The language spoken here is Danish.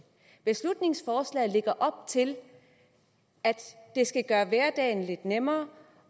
beslutningsforslaget lægger op til at gøre hverdagen lidt nemmere